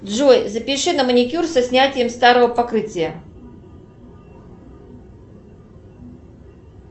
джой запиши на маникюр со снятием старого покрытия